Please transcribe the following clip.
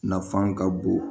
Nafan ka bon